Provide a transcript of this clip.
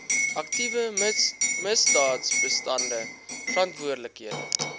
aktiewe misdaadbestande verantwoordelike